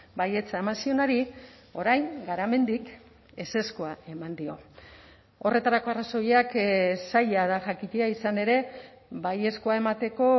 baietza eman zionari orain garamendik ezezkoa eman dio horretarako arrazoiak zaila da jakitea izan ere baiezkoa emateko